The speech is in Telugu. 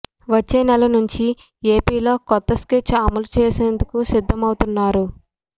వచ్చే నెల నుంచి ఏపీలో కొత్త స్కెచ్ అమలు చేసేందుకు సిద్ధమవుతున్నారు